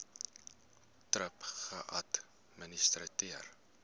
thrip geadministreer